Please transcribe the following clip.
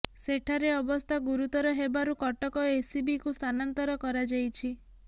ସେଠାରେ ଅବସ୍ଥା ଗୁରୁତର ହେବାରୁ କଟକ ଏସ୍ସିବିକୁ ସ୍ଥାନାନ୍ତର କରାଯାଇଛି